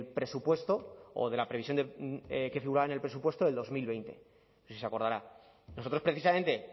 presupuesto o de la previsión que figuraba en el presupuesto del dos mil veinte no sé si se acordará nosotros precisamente